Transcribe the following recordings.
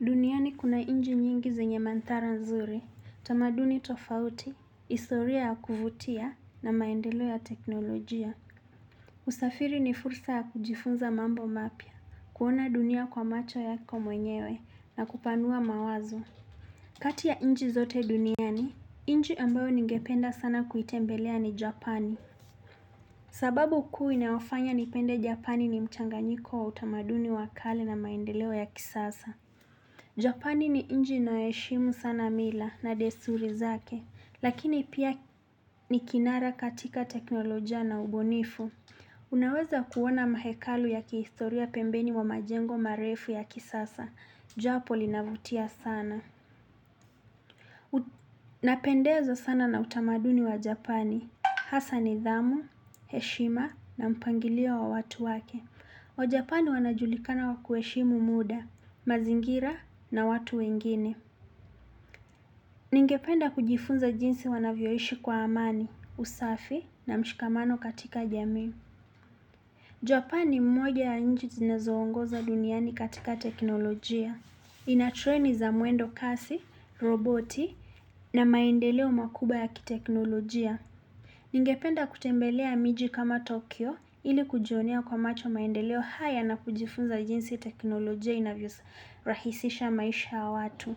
Duniani kuna inchi nyingi zenye mandhari nzuri, tamaduni tofauti, historia ya kuvutia na maendeleo ya teknolojia. Usafiri ni fursa ya kujifunza mambo mapya, kuona dunia kwa macho yako mwenyewe na kupanua mawazo. Kati ya inchi zote duniani, inchi ambayo ningependa sana kuitembelea ni Japani. Sababu kuu inayofanya nipende Japani ni mchanganyiko wa utamaduni wa kale na maendelo ya kisasa. Japani ni inchi inayoheshimu sana mila na desuri zake, lakini pia ni kinara katika teknolojia na ubunifu. Unaweza kuona mahekalu ya kihistoria pembeni mwa majengo marefu ya kisasa. Japo linavutia sana. Napendezwa sana na utamaduni wa Japani. Hasa nidhamu, heshima na mpangilio wa watu wake. Wajapani wanajulikana kuheshimu muda, mazingira na watu wengine. Ningependa kujifunza jinsi wanavyoishi kwa amani, usafi na mshikamano katika jamii. Japani mmoja ya nchi zinezoongoza duniani katika teknolojia. Inatreni za mwendo kasi, roboti na maendeleo makubwa ya kiteknolojia. Ningependa kutembelea miji kama Tokyo ili kujionea kwa macho maendeleo haya na kujifunza jinsi teknolojia inavyorahisisha maisha ya watu.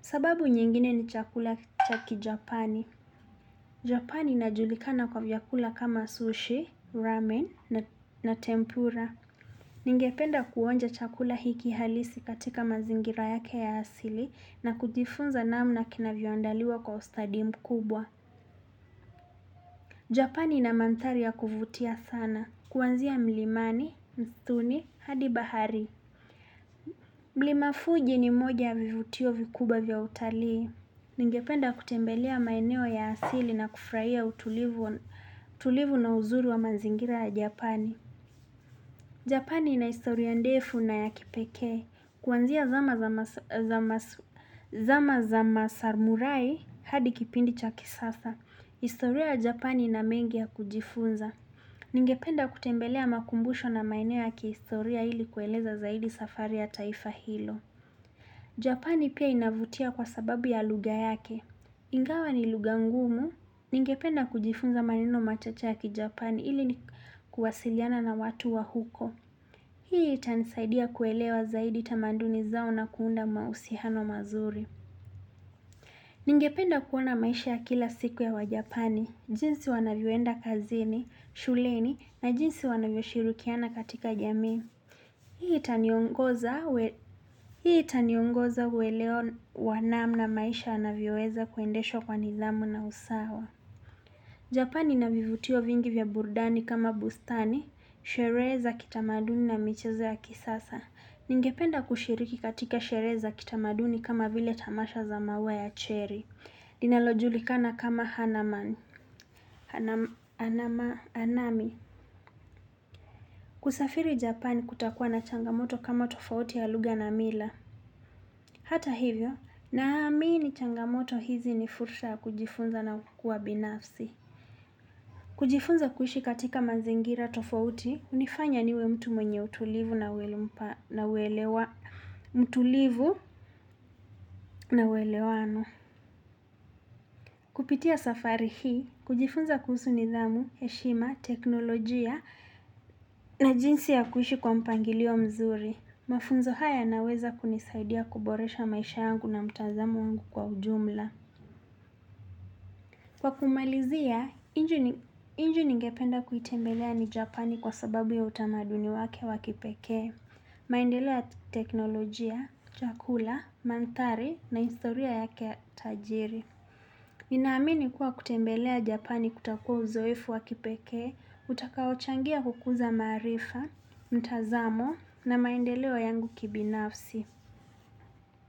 Sababu nyingine ni chakula cha kijapani. Japani inajulikana kwa vyakula kama sushi, ramen na tempura. Ningependa kuonja chakula hiki halisi katika mazingira yake ya hasili na kujifunza namna kinavyoandaliwa kwa ustadi mkubwa. Japani ina mandhari ya kuvutia sana. Kuanzia mlimani, mstuni, hadi bahari. Mlima fuji ni mmoja wa vivutio vikubwa vya utalii. Ningependa kutembelea maeneo ya asili na kufurahia utulivu na uzuri wa mazingira ya Japani. Japani ina historia ndefu na ya kipekee. Kuanzia zama zama samurai hadi kipindi cha kisasa. Historia Japani ina mengi ya kujifunza. Ningependa kutembelea makumbusho na maeneo ya kihistoria ili kueleza zaidi safari ya taifa hilo. Japani pia inavutia kwa sababu ya lugha yake. Ingawa ni lugha ngumu. Ningependa kujifunza maneno machache ya ki Japani ili ni kuwasiliana na watu wa huko. Hii itanisaidia kuelewa zaidi tamanduni zao na kuunda mahusiano mazuri. Ningependa kuona maisha ya kila siku ya wa Japani. Jinsi wanavyoenda kazini, shuleni na jinsi wanavyo shirikiana katika jamii. Hii itaniongoza uwelewa wa namna maisha yanavyoweza kuendeshwa kwa nidhamu na usawa. Japani ina vivutio vingi vya burudani kama bustani, sherehe za kitamaduni na michezo ya kisasa. Ningependa kushiriki katika sherehe za kitamaduni kama vile tamasha za maua ya cherry. Linalojulikana kama hanamani, kusafiri japani kutakuwa na changamoto kama tofauti ya lugha na mila. Hata hivyo, naamini changamoto hizi ni fursa kujifunza na kuwa binafsi. Kujifunza kuishi katika mazingira tofauti, hunifanya niwe mtu mwenye utulivu na uelewano mtulivu na uelewano. Kupitia safari hii, kujifunza kuhusu nidhamu, heshima, teknolojia na jinsi ya kuishi kwa mpangilio mzuri. Mafunzo haya yanaweza kunisaidia kuboresha maisha yangu na mtazamo wangu kwa ujumla. Kwa kumalizia, inchi ningependa kuitembelea ni Japani kwa sababu ya utamaduni wake wa kipekee. Maendelea teknolojia, chakula, mandhari na historia yake tajiri. Ninaamini kuwa kutembelea Japani kutakuwa uzoefu wa kipekee, utakaochangia kukuza maarifa, mtazamo na maendeleo yangu kibinafsi.